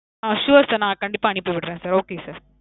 ஆ. sure sir. நான் கண்டிப்பா அனுப்பிவிடறேன் sir. okay sir.